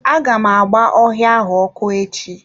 Aga m agba ọhịa ahụ ọkụ echi.